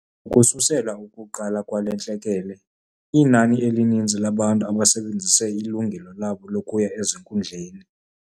Ukususela ukuqala kwale ntlekele, linani elininzi labantu abasebenzise ilungelo labo lokuya ezinkundleni.